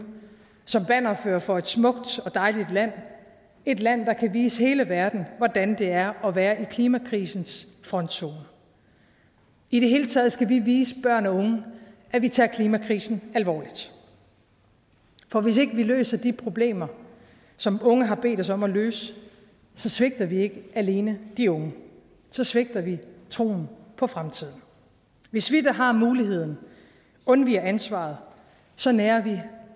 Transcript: som bannerførere for et smukt og dejligt land et land der kan vise hele verden hvordan det er at være i klimakrisens frontzone i det hele taget skal vi vise børn og unge at vi tager klimakrisen alvorligt for hvis ikke vi løser de problemer som unge har bedt os om at løse så svigter vi ikke alene de unge så svigter vi troen på fremtiden hvis vi der har muligheden undviger ansvaret så nærer vi